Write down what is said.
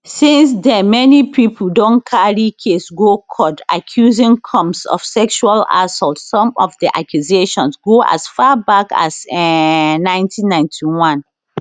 since den many pipo don carry case go court accusing combs of sexual assault some of di accusations go as far back as um 1991